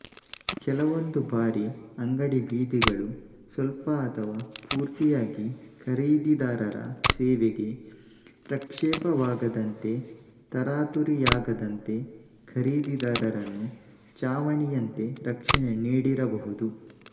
ಕೆಲವೊಂದು ಬಾರಿ ಅಂಗಡಿ ಬೀದಿಗಳು ಸ್ವಲ್ಪ ಅಥವಾ ಪೂರ್ತಿಯಾಗಿ ಖರೀದಿದಾರರ ಸೇವೆಗೆ ಪ್ರಕ್ಷೇಪವಾಗದಂತೆತರಾತುರಿಯಾಗದಂತೆ ಖರೀದಿದಾರರನ್ನು ಛಾವಣಿ ಯಂತೆ ರಕ್ಷಣೆ ನೀಡಿರಬಹುದು